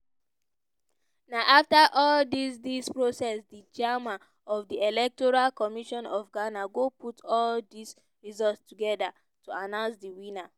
na afta all dis dis process di chairman of di electoral commission of ghana go put all dis results togeda to announce di winner.